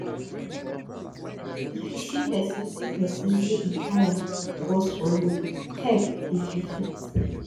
if you see pesin see pesin wey e tire burst for road help if you fit